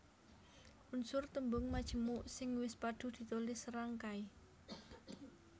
Unsur tembung majemuk sing wis padhu ditulis serangkai